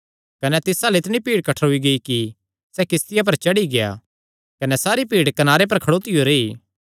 कने तिस अल्ल इतणी बड्डी भीड़ कठ्ठरोई कि सैह़ किस्तिया पर चढ़ी गेआ कने सारी भीड़ कनारे पर खड़ोतियो रेई